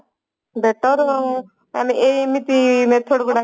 better ଆମେ ଏମିତି method ଟାକୁ